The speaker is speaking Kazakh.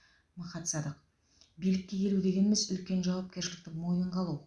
махат садық билікке келу дегеніміз үлкен жауапкершілікті мойынға алу